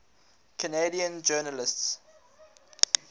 canadian journalists